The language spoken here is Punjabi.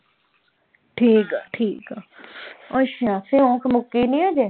ਠੀਕ ਆ ਠੀਕ ਆ ਅੱਛਾ ਸਿਉਂਖ ਮੁੱਕੀ ਨੀ ਹਜੇ?